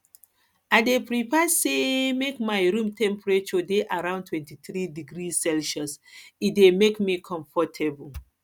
i dey prefer say make my room temperature dey around 23 degrees celsius e dey make me comfortable